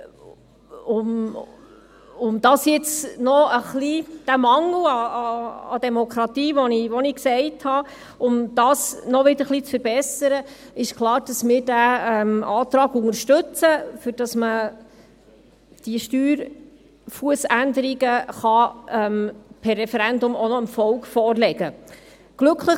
Um diesen Mangel an Demokratie, den ich erwähnt habe, noch ein wenig zu verbessern, ist klar, dass wir diesen Antrag unterstützen, damit man diese Steuerfussänderungen per Referendum auch noch dem Volk vorlegen kann.